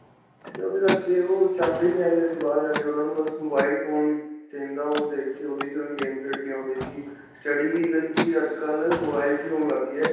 ਓਹਦੇ ਕਰਕੇ ਓਹ ਚਾਹੁੰਦੇ ਨਹੀਂ ਹੈਗੇ, ਅਸੀਂ ਬਾਹਰ ਜਾ ਕੇ ਉਨ੍ਹਾਂਨੂੰ ਬਸ mobile phone ਚਾਹੀਦਾ ਓਹ ਦੇਖਕੇ game ਖੇਡਣੀ ਓਹਦੇ 'ਚ ਹੀ, study ਕੀ, even ਅੱਜਕਲ੍ਹ mobile 'ਚ ਹੀ ਹੋਣ ਲੱਗ ਗਈ ਹੈ.